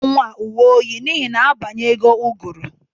Ị ga-azụtara nwa a uwe oyi n'ihi na abanyego ụgụrụ!